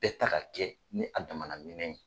Bɛɛ ta ka kɛ ni a dama na minɛn ye.